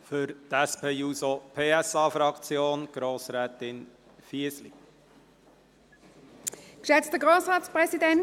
Für die SP-JUSO-PSA-Fraktion hat Grossrätin Fisli das Wort.